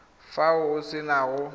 fa o se na go